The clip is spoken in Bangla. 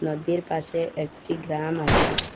নদীর পাশে একটি গ্রাম আছে।